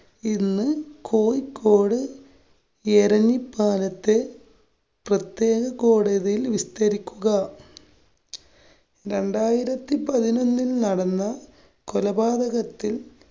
ഇന്ന് കോഴിക്കോട് എരഞ്ഞിപ്പാലത്ത് പ്രത്യേക കോടതിയില്‍ വിസ്തരിക്കുക. രണ്ടായിരത്തി പതിനൊന്നില്‍ നടന്ന കൊലപാതകത്തില്‍